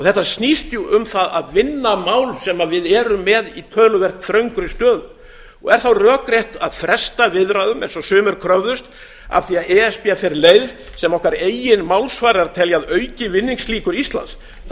þetta snýst jú um það að vinna mál sem við erum með í töluvert þröngri stöðu er þá rökrétt að fresta viðræðum eins og sumir kröfðust af því e s b fer leið sem okkar eigin málsvarar telja að auki vinningslíkur íslands það